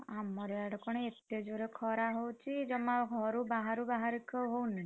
ଆମର ୟାଡେ କଣ ଏତେ ଜୋରେ ଖରା ହଉଛି, ଜମା ଘରୁ ବାହାରୁ ବାହାରିକି ହଉନି।